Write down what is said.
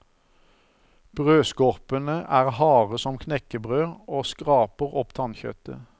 Brødskorpene er harde som knekkebrød og skraper opp tannkjøttet.